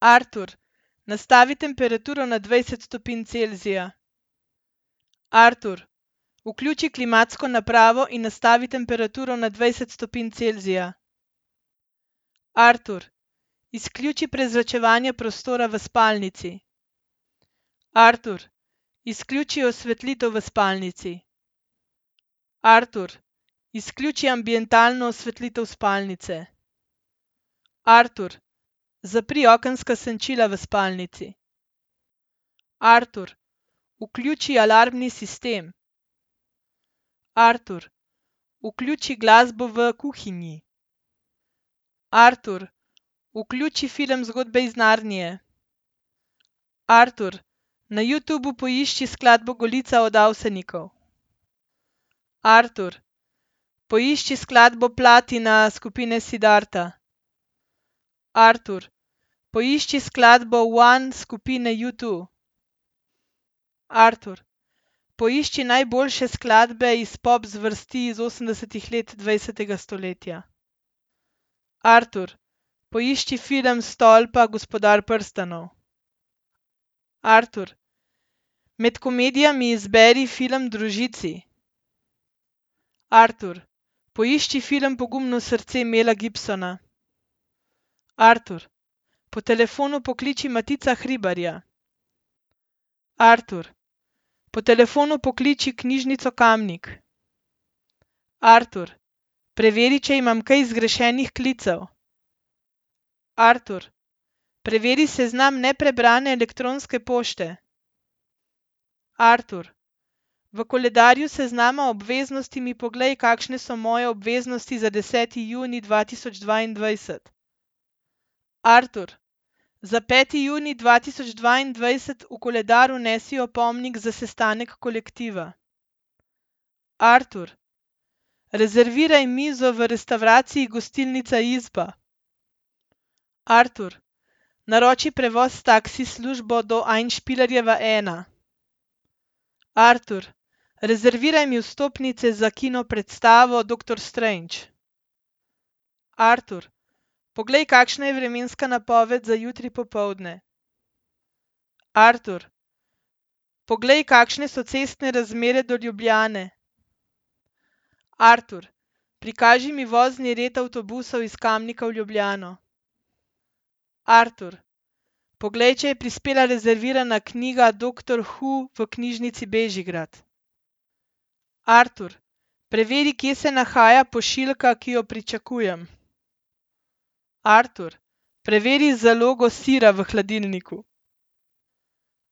Artur, nastavi temperaturo na dvajset stopinj Celzija. Artur, vključi klimatsko napravo in nastavi temperaturo na dvajset stopinj Celzija. Artur, izključi prezračevanje prostora v spalnici. Artur, izključi osvetlitev v spalnici. Artur, izključi ambientalno osvetlitev spalnice. Artur, zapri okenska senčila v spalnici. Artur, vključi alarmni sistem. Artur, vključi glasbo v kuhinji. Artur, vključi film Zgodbe iz Narnije. Artur, na Youtubu poišči skladbo Golica od Avsenikov. Artur, poišči skladbo Platina skupine Siddharta. Artur, poišči skladbo One skupine UTwo. Artur, poišči najboljše skladbe iz pop zvrsti iz osemdesetih let dvajsetega stoletja. Artur, poišči film Stolpa Gospodar prstanov. Artur, med komedijami izberi film Družici. Artur, poišči film Pogumno srce Mela Gibsona. Artur, po telefonu pokliči Matica Hribarja. Artur, po telefonu pokliči knjižnico Kamnik. Artur, preveri, če imam kaj zgrešenih klicev. Artur, preveri seznam neprebrane elektronske pošte. Artur, v koledarju seznama obveznosti mi poglej, kakšne so moje obveznosti za deseti junij dva tisoč dvaindvajset. Artur, za peti junij dva tisoč dvaindvajset v koledar vnesi opomnik za sestanek kolektiva. Artur, rezerviraj mizo v restavraciji Gostilnica Izba. Artur, naroči prevoz s taksi službo do Einspielerjeva ena. Artur, rezerviraj mi vstopnice za kino predstavo Doktor Strange. Artur, poglej, kakšna je vremenska napoved za jutri popoldne. Artur, poglej, kakšne so cestne razmere do Ljubljane. Artur, prikaži mi vozni red avtobusa iz Kamnika v Ljubljano. Artur, poglej, če je prispela rezervirana knjiga Doktor Who v Knjižnici Bežigrad. Artur, preveri, kje se nahaja pošiljka, ki jo pričakujem. Artur, preveri zalogo sira v hladilniku.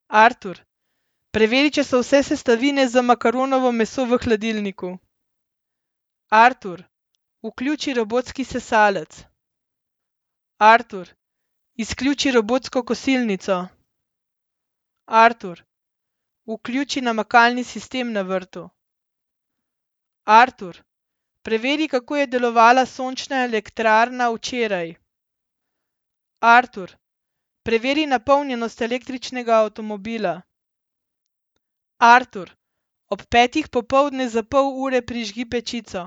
Artur, preveri, če so vse sestavine za makaronovo meso v hladilniku. Artur, vključi robotski sesalec. Artur, izključi robotsko kosilnico. Artur, vključi namakalni sistem na vrtu. Artur, preveri, kako je delovala sončna elektrarna včeraj. Artur, preveri napolnjenost električnega avtomobila. Artur, ob petih popoldne za pol ure prižgi pečico.